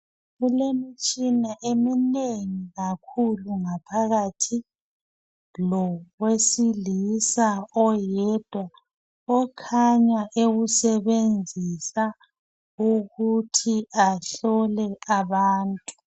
Kulemitshina eminengi kakhulu ngaohakathi lowesilisa oyedwa okhanya ewusebenzisa ukuthi ahlole abantu